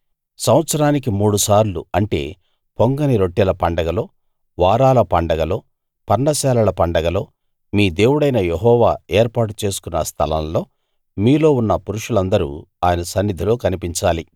సంవత్సరానికి మూడుసార్లు అంటే పొంగని రొట్టెల పండగలో వారాల పండగలో పర్ణశాలల పండగలో మీ దేవుడైన యెహోవా ఏర్పాటు చేసుకున్న స్థలం లో మీలో ఉన్న పురుషులందరూ ఆయన సన్నిధిలో కనిపించాలి